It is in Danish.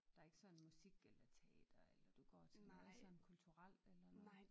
Der ikke sådan musik eller teater eller du går til noget sådan kulturelt eller noget?